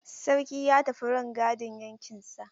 Sarki ya tafi rangadin yankinsa.